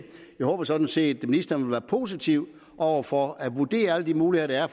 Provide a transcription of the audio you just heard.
jeg håber sådan set at ministeren vil være positiv over for at vurdere alle de muligheder